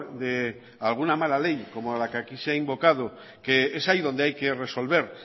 de alguna mala ley como la que aquí se ha invocado que es ahí donde hay que resolver